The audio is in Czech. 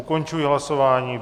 Ukončuji hlasování.